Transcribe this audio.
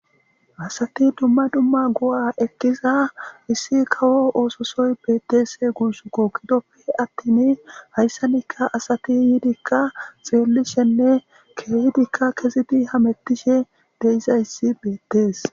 asati dumma dumma go7a ekkiza issi kawo oososoy bettes gusukko gidoppe attin hayssanikka asati yiidikka xeellishenne keeydikka kezidi hamettishe de'izayssi beettees